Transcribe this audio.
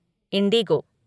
Indigo